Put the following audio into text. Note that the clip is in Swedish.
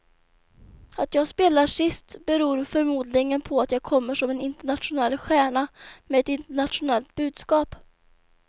Att jag spelar sist beror förmodligen på att jag kommer som en internationell stjärna med ett internationellt budskap.